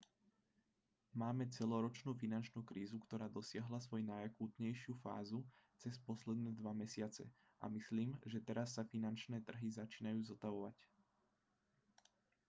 máme celoročnú finančnú krízu ktorá dosiahla svoju najakútnejšiu fázu cez posledné dva mesiace a myslím že teraz sa finančné trhy začínajú zotavovať